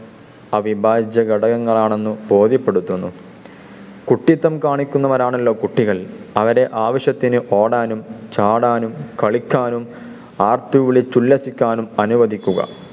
അഭിഭാജ്യ ഘടകങ്ങൾ ആണെന്ന് ബോധ്യപ്പെടുത്തുന്നു. കുട്ടിത്തം കാണിക്കുന്നവരാണല്ലോ കുട്ടികൾ, അവരെ ആവശ്യത്തിന് ഓടാനും ചാടാനും കളിക്കാനും ആർത്തുവിളിച്ചുല്ലസിക്കാനും അനുവദിക്കുക.